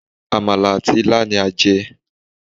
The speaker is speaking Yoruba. Àmàlà àti ilá ni a jẹ́